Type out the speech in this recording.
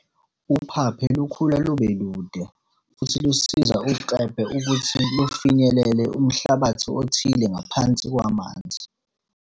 Uphaphe lukhula lube lude futhi lusiza uKlebe ukuthi lufinyelele umhlabathi othile ngaphansi kwamanzi.